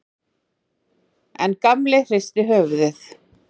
En Gamli hristi höfuðið.